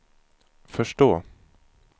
förstå